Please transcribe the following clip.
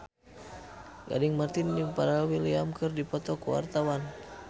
Gading Marten jeung Pharrell Williams keur dipoto ku wartawan